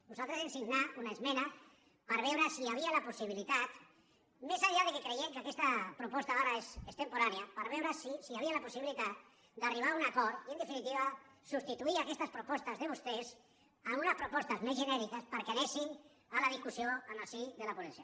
nosaltres vam signar una esmena per veure si hi havia la possibilitat més enllà que creiem que aquesta proposta ara és extemporània per veure si hi havia la possibilitat d’arribar a un acord i en definitiva substituir aquestes propostes de vostès per unes propostes més genèriques perquè anessin a la discussió en el si de la ponència